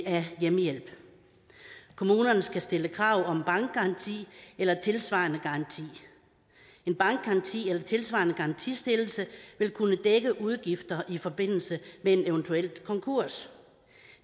af hjemmehjælp kommunerne skal stille krav om bankgaranti eller tilsvarende garanti en bankgaranti eller tilsvarende garantistillelse vil kunne dække udgifter i forbindelse med en eventuel konkurs